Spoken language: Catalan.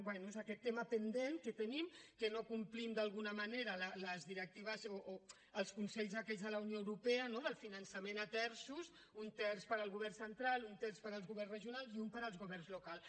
bé és aquest tema pendent que tenim que no complim d’alguna manera les directives o els consells aquests de la unió europea no del finançament a terços un terç per al govern central un terç per als governs regionals i un per als governs locals